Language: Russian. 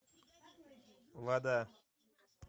вода